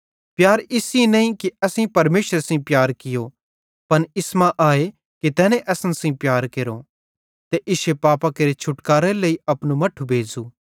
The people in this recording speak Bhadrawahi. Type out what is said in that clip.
प्यार इस सेइं नईं कि असेईं परमेशरे सेइं प्यार कियो पन इस मां आए कि तैने असन सेइं प्यार केरो ते इश्शे पापां केरे छुटकारेरे लेइ अपनू मट्ठू भेज़ू